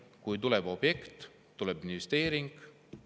Kui tuleb objekt, tuleb investeering.